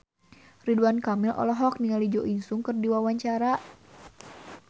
Ridwan Kamil olohok ningali Jo In Sung keur diwawancara